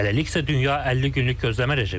Hələlik isə dünya 50 günlük gözləmə rejimindədir.